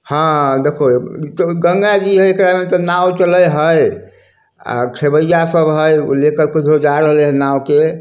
हां देखो गंगा जी के कारण नाव चले हाए आ खेवैया सब है उ ले कर क किधरो जा रहले हेय नाव के।